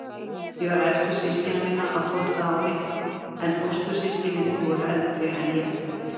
Ég var elstur systkina minna, á tólfta ári, en fóstur- systkinin voru eldri en ég.